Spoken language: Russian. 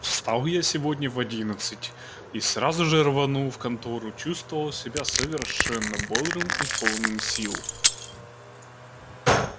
встал я сегодня в одиннадцать сразу же рванул в контору чувствовал себя совершенно бодрым и полным сил